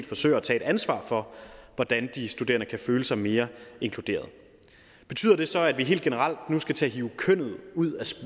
forsøger at tage et ansvar for hvordan de studerende kan føle sig mere inkluderede betyder det så at vi helt generelt nu skal til at hive kønnet ud af